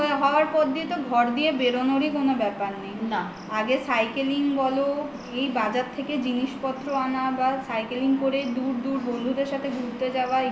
আর online হওয়ার পর থেকে তো ঘর থেকে বেরনারও কোনো ব্যাপার নেই আগে cycling বলো এই বাজার থেকে জিনিসপত্র আনা বা cycling করে দূর দূর বন্ধুদের সাথে ঘুরতে যাওয়া